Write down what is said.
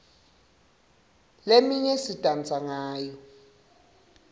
leminye sidansa ngayo